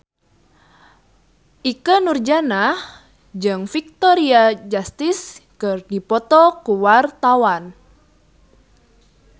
Ikke Nurjanah jeung Victoria Justice keur dipoto ku wartawan